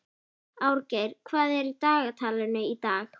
Árgeir, hvað er í dagatalinu í dag?